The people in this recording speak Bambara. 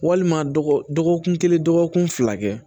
Walima dɔgɔkun kelen dɔgɔkun fila kɛ